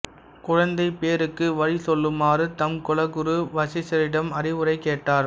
குழந்தைப் பேறுக்கு வழி சொல்லுமாறு தம் குலகுரு வசிஷ்டரிடம் அறிவுரை கேட்டார்